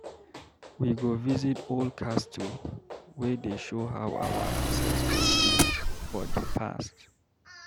We go visit old castle wey dey show how our ancestors live for di past.